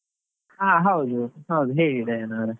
ಹಾ ಹೌದು, ಹೌದು ಹೇಳಿ ಡೈನ ಅವ್ರೆ.